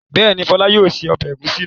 Bẹ́ẹ̀ni, Fọlá yóò se ọbẹ̀ ẹ̀gúsí náà.